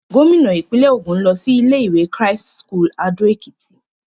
Gómìnà ìpínlẹ̀ Ògùn lọ sí ilé-ìwé Christ's School Ado Ekiti.